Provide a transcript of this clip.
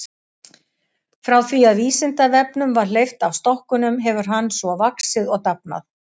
Frá því að Vísindavefnum var hleypt af stokkunum hefur hann svo vaxið og dafnað.